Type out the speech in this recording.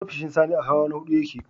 Ofishin Sani a hawa na huɗu ya ke.